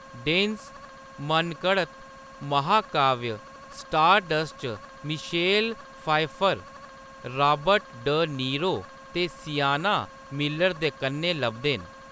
Dense मनघड़त महाकाव्य Stardust च Michelle Pfeiffer, Robert de Niro ते सिएना मिलर दे कन्नै लभदे न।